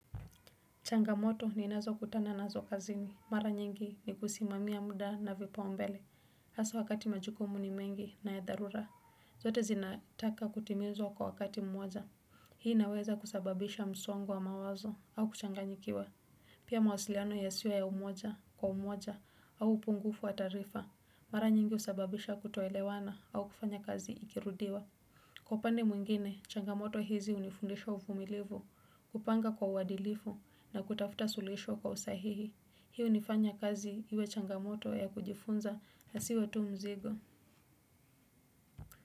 Changamoto ninazo kutana nazo kazini, mara nyingi ni kusimamia muda na vipaumbele, haswa wakati majukumu ni mengi na ya dharura, zote zinataka kutimizwa kwa wakati mmoja, hii inaweza kusababisha msongo wa mawazo au kuchanganyikiwa, pia mawasiliano yasio ya umoja kwa umoja au upungufu wa taarifa, mara nyingi usababisha kutoelewana au kufanya kazi ikirudiwa. Kwa upande mwingine, changamoto hizi unifundisha uvumilivu, kupanga kwa uwadilifu na kutafuta suluhisho kwa usahihi. Hi unifanya kazi iwe changmoto ya kujifunza asiwe tu mzigo.